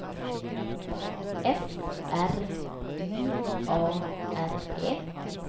F R I A R E